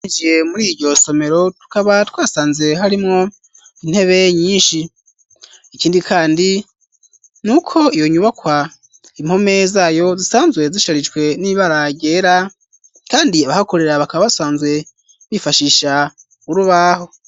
Winjiye muri iryo somero tukaba twasanze harimwo intebe nyinshi, ikindi kandi ni uko iyo nyubakwa impome zayo zisanzwe zisharijwe n'ibara ryera, kandi abahakorera bakaba basanzwe bifashisha urubaho.